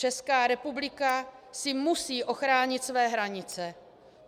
Česká republika si musí ochránit své hranice.